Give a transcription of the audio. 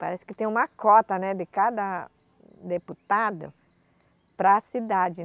Parece que tem uma cota, né, de cada deputado para a cidade.